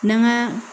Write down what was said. N'an ga